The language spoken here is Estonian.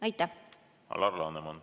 Alar Laneman, palun!